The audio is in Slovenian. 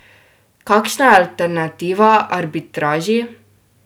Kakšna je alternativa arbitraži?